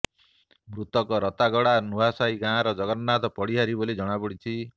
ମୃତକ ରତାଗଡ଼ା ନୂଆସାହି ଗାଁର ଜଗନ୍ନାଥ ପଡିହାରୀ ବୋଲି ଜଣାପଡିଛି